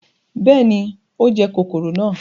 bẹẹni, o jẹ kọkọrọ náà